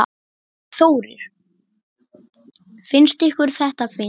Þórir: Finnst ykkur þetta fyndið?